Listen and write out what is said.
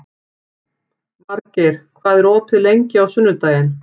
Margeir, hvað er opið lengi á sunnudaginn?